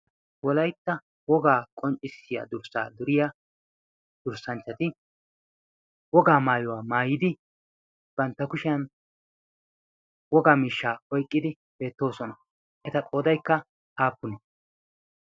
wolaytta wogaa qonccissiya durssaa duriya durssanchchati wogaa maayuwaa maayidi bantta kushiyan wogaa mishshaa oyqqidi beettoosona eta qoodaykka aappune?